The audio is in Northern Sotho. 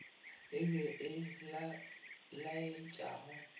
e be ye e laetšago